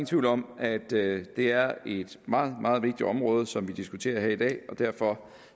tvivl om at det er et meget meget vigtigt område som vi diskuterer her i dag og derfor